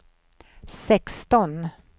sexton